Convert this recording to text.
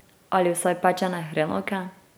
Ali vsaj pečene hrenovke?